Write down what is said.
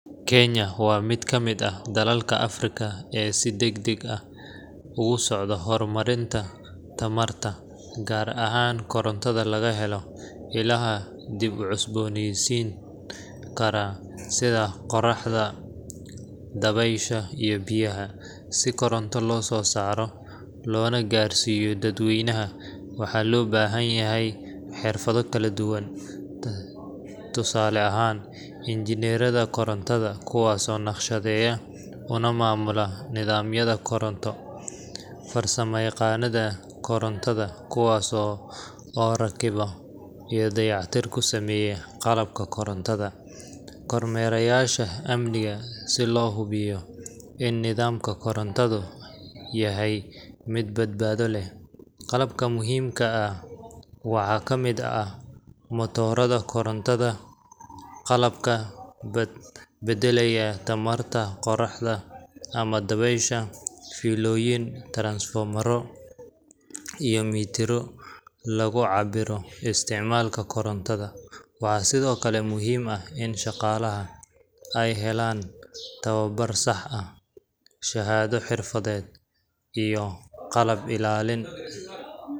Kenya waa mid kamid ah dalalka Africa ee si degdeg ah ogasocdo hormarinta tamarta, gar ahan korontadha lagahelo ilahaa dib ucosbonisinkara sidaa qoraxda, dabesha iyo biyaha, sii koronto lososaro loona garsiyo dad weynaha waxa lobahanyahay xirfado kaladuban tusalo ahan, injinerada korontada kuwas oo naqshadeya una mamula nidamyada koronto, farsama yaqanada korontada kuwas oo rakibo oo dayac tir kusameyo qalabka korontada, kormereyasha amniga sii lohubiyo in nidamku korontadu yahay mid badbado leh, qalabka muhimka ah waxa kamid ah motorada korontada, qalabka badalaya tamarta qoroxda ama dabesha, filadoyin, taransfomaro iyo mitaro lagu cabiro istacmalka korontada, waxa sidiokale muhim ah in shaqalaha ay helan tawabar sax ah shahado xirfaded iyo qalab ilalin.